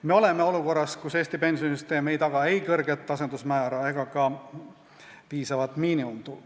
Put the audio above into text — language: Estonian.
Me oleme olukorras, kus Eesti pensionisüsteem ei taga ei kõrget asendusmäära ega piisavat miinimumtulu.